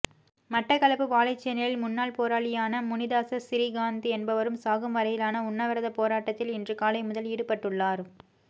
மட்டக்களப்பு வாழைச்சேனையில் முன்னாள் போராளியான முனிதாஸ சிறிகாந் என்பவர் சாகும் வரையிலான உண்ணாவிரதப் போராட்டத்தில் இன்று காலை முதல் ஈடுபட்டுள்ளார்